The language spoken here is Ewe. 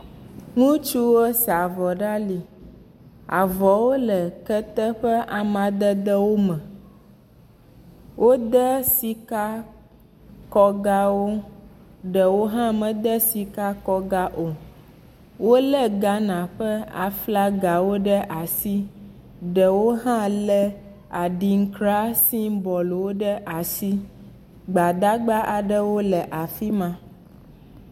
Ŋutsuwo sa avɔ ɖe ali. Avɔwo le kete ƒe amadede me. Wode sika kɔgawo ɖewo hã mede sikakɔga o. Wolé Ghana ƒe flaga ɖe asi. Ɖewo hã le adinkra simbɔl ɖe asi. Gbadagba aɖewo le afi ma.